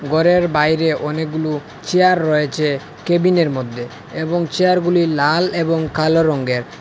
গরের বাইরে অনেকগুলু চেয়ার রয়েচে কেবিনের মদ্যে এবং চেয়ারগুলি লাল এবং কালো রঙ্গের ।